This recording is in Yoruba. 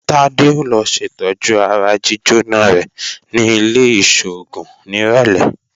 Tádé ó lọ ṣètọ́jú ara jíjóná rẹ̀ ní ilé-ìṣògùn nírọ̀lẹ́